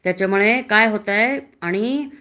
त्याच्यामुळे काय होतय आणि